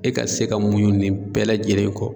E ka se ka muɲu nin bɛɛ lajɛlen kɔ